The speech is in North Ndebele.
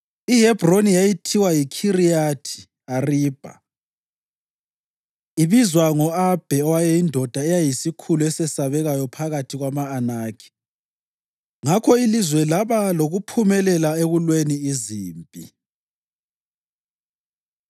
(IHebhroni yayithiwa yiKhiriyathi Aribha ibizwa ngo-Abhe owayeyindoda eyayiyisikhulu esesabekayo phakathi kwama-Anakhi). Ngakho ilizwe laba lokuphumula ekulweni izimpi.